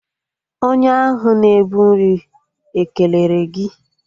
Onye ahụ na-ebu nri ekelere gị?